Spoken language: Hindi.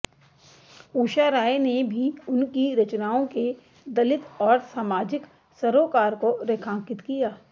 उषा राय ने भी उन की रचनाओं के दलित और सामाजिक सरोकार को रेखांकित किया